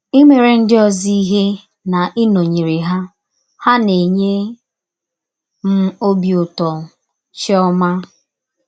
Imere ndị ọzọ ihe na ịnọnyere ha ha na - enye m ọbi ụtọ. ”— Chiọma.